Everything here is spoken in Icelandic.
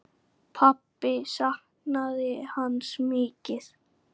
Pabbi saknaði hans mikið.